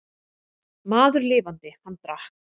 Maður lifandi, hann drakk.